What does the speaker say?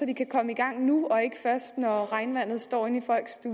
de kan komme i gang nu og ikke først når regnvandet står ind